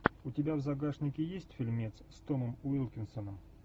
у тебя в загашнике есть фильмец с томом уилкинсоном